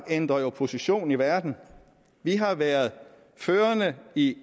ændrer position i verden vi har været førende i